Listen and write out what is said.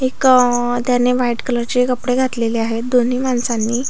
एक त्याने व्हाईट कलरचे कपडे घातलेले आहेत दोन्ही माणसांनी--